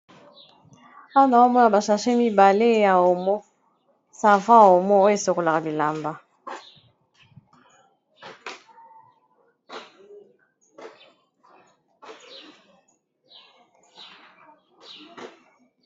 Awa nao mona ba sache mibale ya omo, savon omo oyo esokolaka bilamba.